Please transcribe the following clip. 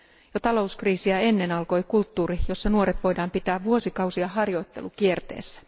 Jo talouskriisiä ennen alkoi kulttuuri, jossa nuoret voidaan pitää vuosikausia harjoittelukierteessä.